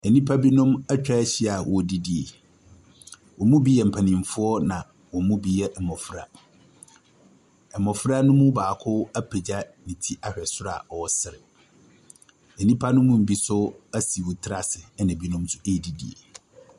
Nnipa binom atwa ahyia wɔredidi. Wɔn mu yɛ mpanimfoɔ na wɔn mu yɛ mmɔfra. Mmɔfra ne mu baako apagya ne ti ahwɛ soro a ɔresere. Nnipa ne mu bi nso asi hɔn tiri ase na binom nso ɛredidi.